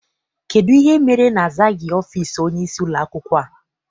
Kedụ ihe mere na-azaghị ọfịịsi onyeisi ụlọakwụkwọ a?